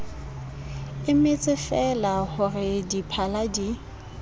emetsefeela ho re diphala di